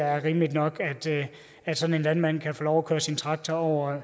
er rimeligt nok at sådan en landmand kan få lov til at køre sin traktor over